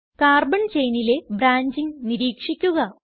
carbon ചെയിനിലെ branching നിരീക്ഷിക്കുക